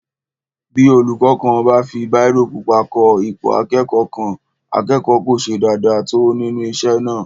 Bí olúkọ́ kan bá fi bírò pupa kọ ipò akẹ́kọ̀ọ́ kan, akẹ́kọ̀ọ́ kò ṣe dáadáa tó nínú isé náà